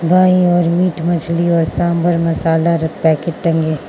दाईं ओर मीट मछली और सांबर मसाला र पैकेट टंगे --